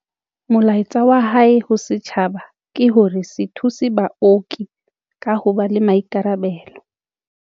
Molaetsa wa hae ho setjhaba ke hore se thuse baoki ka ho ba le maikarabelo.